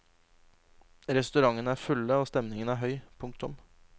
Restaurantene er fulle og stemningen høy. punktum